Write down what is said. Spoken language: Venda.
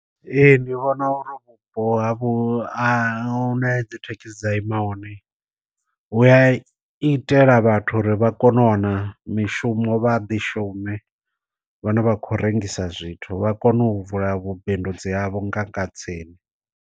Ee ndi vhona uri vhupo ha vhu a hu na dzi thekhisi dza ima hone, u a itela vhathu uri vha kone u wana mishumo vha ḓi shume vhane vha khou rengisa zwithu vha kone u vula vhu bindudzi havho nga kha tsini.